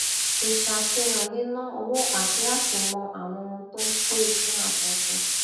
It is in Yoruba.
ìṣàfihàn níná owó àti láti mọ àwọn ohun tó ń pè fún àtúnṣe